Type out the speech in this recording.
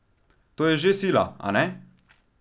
To je že sila, a ne?